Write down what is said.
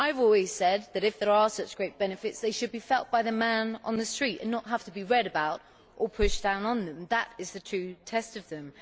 I have always said that if there are such great benefits, they should be felt by the man in the street and not have to be read about or pushed down on them. That is the true test of them.